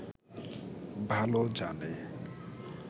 ভালো জানে